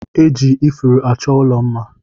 E ji ifuru achọ ụlọ mma